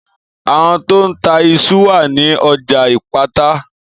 Àwon to n ta isu wa ni ọjà ìpátá